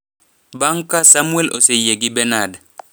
Bang' ka Samwel oseyie gi Benard,